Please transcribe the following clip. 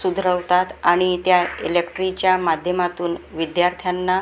सुधरवतात आणि त्या इलेक्ट्रिच्या माध्यमातून विद्यार्थ्यांना--